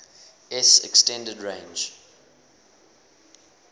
s extended range